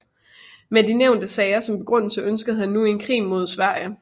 Med de nævnte sager som begrundelse ønskede han nu en krig med Sverige